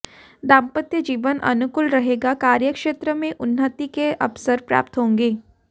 दांपत्य जीवन अनुकूल रहेगा कार्यक्षेत्र में उन्नति के अवसर प्राप्त होंगे